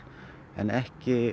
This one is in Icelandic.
en ekki